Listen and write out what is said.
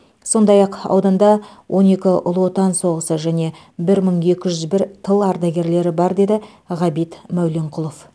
сондай ақ ауданда он екі ұлы отан соғысы және бір мың екі жүз бір тыл ардагерлері бар деді ғабит мәуленқұлов